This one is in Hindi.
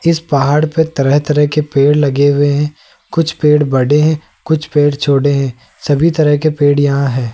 जिस पहाड़ पे तरह तरह के पेड़ लगे हुए हैं कुछ पेड़ बड़े हैं कुछ पेड़ छोटे हैं सभी तरह के पेड़ यहां है।